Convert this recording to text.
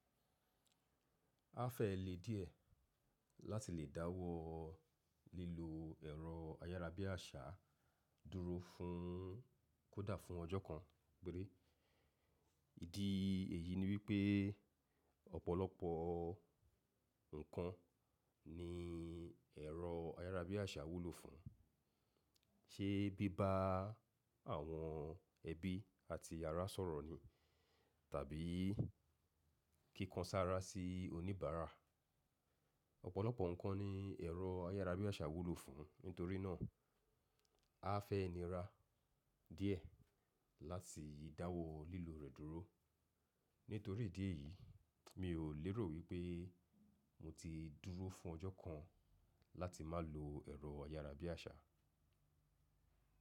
A fẹ́ le díẹ̀ láti lè dáwọ́ lílo ẹ̀rọ ayárabíàṣá dúró fún kó dà fún ọjọ́ kan péré. Ìdí èyí ni wípé ọ̀pọ̀lọpọ̀ nǹkan ni ẹ̀rọ ayárabíàṣá wúlò fún, ṣé bí bá àwọn ẹbí àti yàrá sọ̀rọ̀ ni tàbí kíkan sára sí oníbàárà. Ọ̀pọ̀lọpọ̀ nǹkan ni ẹ̀rọ ayárabíàṣá wúlò fún, nítorí náà a fẹ́ nira díẹ̀ láti dáwọ́ lílo rẹ̀ dúró. Nítorí ìdí èyí, mi ò lérò wípé mo ti dúró fún ọjọ́ kan láti má lo ẹ̀rọ ayárabíàṣá.